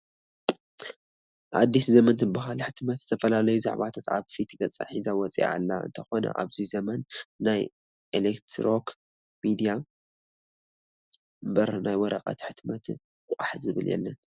ኣዲስ ዘመን ትበሃል ሕትመት ዝተፈላለዩ ዛዕባታት ኣብ ፊት ገፃ ሒዛ ወፂኣ ኣለ፡፡ እንተኾነ ኣብዚ ዘመን ናይ ኤለክትሮክ ሚድያ እምበር ናብ ናይ ወረቐት ሕትመት ቋሕ ዝብል የለን፡፡፡